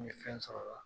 N ye fɛn sɔrɔ o la